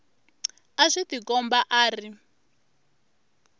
a swi tikombi a ri